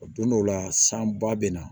O don dɔw la san ba bɛ na